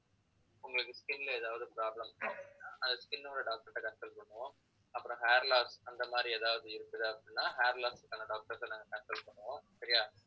உங்களுக்கு skin ல ஏதாவது problem அந்த skin ஓட doctor கிட்ட consult பண்ணுவோம் அப்புறம் hair loss அந்த மாதிரி ஏதாவது இருக்குது அப்படின்னா hair loss க்கான doctors அ நாங்க consultl பண்ணுவோம் சரியா